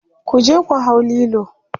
kuje ku hau Lilo!